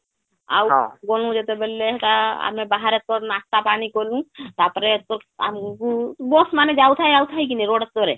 ଆଉ ଗ୍ନୁ ଯେତେବେଳେ ସେଟା ଆମେ ବାହାରେ ତ ନାଶ୍ତା ପାନୀ କଲୁ ତାପରେ ଏରକ ଆମକୁ bus ମାନେ ଯାଉ ଥାଏ ଆସୁଥାଏ କି ନାଇଁ road ଉପରେ